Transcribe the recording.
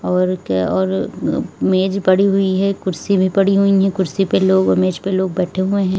और क्या और मेज पड़ी हुई है कुर्सी भी पड़ी हुई है कुर्सी पे लोग मेज पे लोग बैठे हुए हैं।